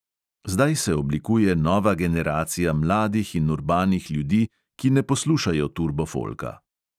Zdaj se oblikuje nova generacija mladih in urbanih ljudi, ki ne poslušajo turbofolka.